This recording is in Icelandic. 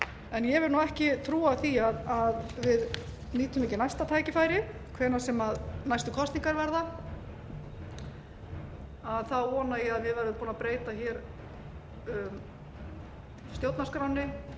en ég vil ekki trúa því að við nýtum ekki næsta tækifæri hvenær sem næstu kosningar verða þá vona ég að við verðum búin að breyta stjórnarskránni